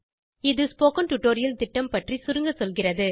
இது spoken tutorial திட்டம் பற்றி சுருங்கசொல்கிறது